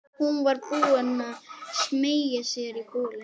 Hún var búin að smeygja sér í bolinn.